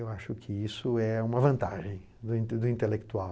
Eu acho que isso é uma vantagem do intelectual.